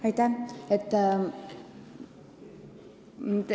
Aitäh!